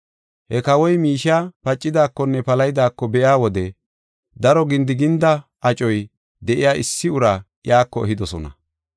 He kawoy miishey pacidaakonne palahidaako be7iya wode daro gindiginda acoy de7iya issi uraa iyako ehidosona.